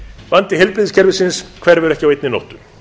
vandi heilbrigðiskerfisins hverfur ekki á einni nóttu